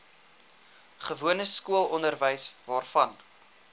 gewone skoolonderwys waarvan